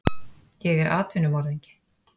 Ég er atvinnumorðingi.